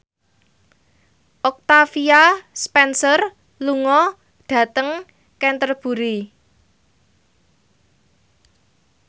Octavia Spencer lunga dhateng Canterbury